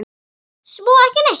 Svo ekki neitt.